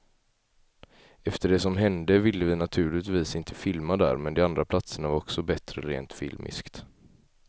Efter det som hände ville vi naturligtvis inte filma där, men de andra platserna var också bättre rent filmiskt.